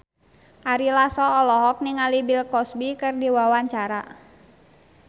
Ari Lasso olohok ningali Bill Cosby keur diwawancara